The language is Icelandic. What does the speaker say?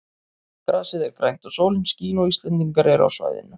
Grasið er grænt og sólin skín og Íslendingar eru á svæðinu.